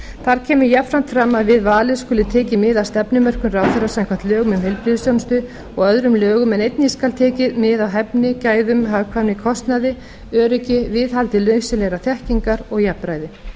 þar kemur jafnframt fram að við valið skuli tekið mið af stefnumörkun ráðherra samkvæmt lögum um heilbrigðisþjónustu og öðrum lögum en einnig skal tekið mið af hæfni gæðum hagkvæmni kostnaði öryggi viðhaldi nauðsynlegrar þekkingar og jafnræði